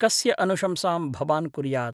कस्य अनुशंसां भवान् कुर्यात्?